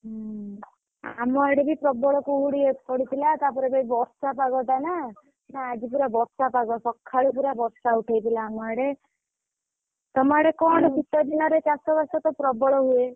ହୁଁ ଆମ ଆଡେ ବି ପ୍ରବଳ କୁହୁଡି ପଡିଥିଲା। ତାପରେ ଏବେ ବର୍ଷା ପାଗଟା ନା। ହାଁ ଆଜି ପୁରା ବର୍ଷା ପାଗ ସକାଳୁ ପୁରା ବର୍ଷା ଉଠେଇଥିଲା ଆମ ଆଡେ। ତମ ଆଡେ କଣ ଶୀତଦିନରେ ଚାଷ ବାସ ତ ପ୍ରବଳ ହୁଏ।